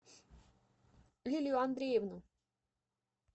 лилию андреевну